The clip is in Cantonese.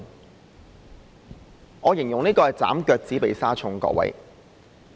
各位，我形容這是"斬腳趾避沙蟲"。